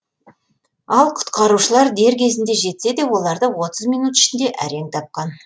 ал құтқарушылар дер кезінде жетсе де оларды отыз минут ішінде әрең тапқан